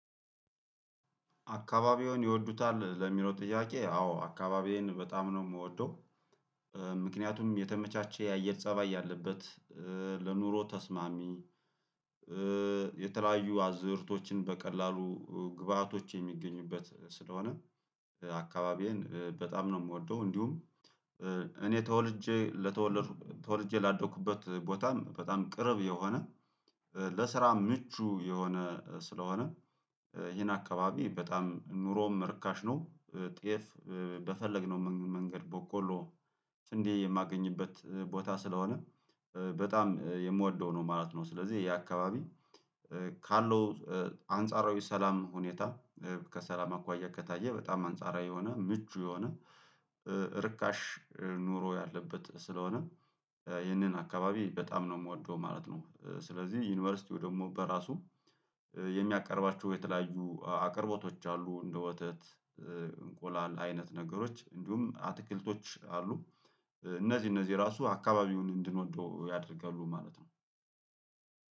አካባቢውን ይወዱታል ለሚለው ጥያቄ? አዎ አካባቢዬን በጣም ነው የምወደው። ምክንያቱም የተመቻቸ የአየር ፀባይ ያለበት ለኑሮ ተስማሚ። የተለያዩ አዝርቶችን በቀላሉ ግብአቶች የሚገኙበት ስለሆነ አካባቢዬን በጣም ነው የምወደው። እንዲሁም እኔ ተወልጄ ለተወለድኩ ተወልጄ ላደኩበት ቦታም በጣም ቅርብ የሆነ ለስራ ምቹ የሆነ ስለሆነ ይሄን አካባቢ በጣም ኑሮም ርካሽ ነው። ጤፍ በፈለግነው መንገድ በቆሎ ስንዴ የማገኝበት ቦታ ስለሆነ በጣም የምወደው ነው ማለት ነው። ስለዚህ ይሄ አካባቢ ካለው አንጻራዊ ሰላም ሁኔታ ከሰላም አኳያ ከታየ በጣም አንጻራዊ የሆነ ምቹ የሆነ ርካሽ ኑሮ ያለበት ስለሆነ ይህንን አካባቢ በጣም ነው የምወደው ማለት ነው። ስለዚህ ዩኒቨርሲቲው ደግሞ በራሱ የሚያቀርባችሁ የተለያዩ አቅርቦቶች አሉ እንደ ወተት እንቁላል አይነት ነገሮች እንዲሁም አትክልቶች አሉ። እነዚህ እነዚህ ራሱ አካባቢውን እንድንወደው ያደርጋሉ ማለት ነው።